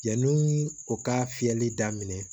Yanni u ka fiyɛli daminɛ